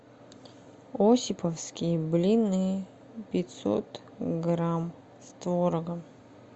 осиповские блины пятьсот грамм с творогом